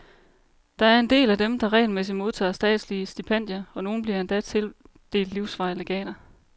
Der er en del af dem, der regelmæssigt modtager statslige stipendier, og nogle bliver endda tildelt livsvarige legater.